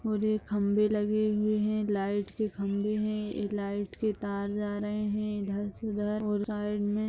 और एक खंबे लगे हुए हैं लाइट के खंबे हैं। यह लाइट के तार जा रहे हैं इधर से उधर और साइड में --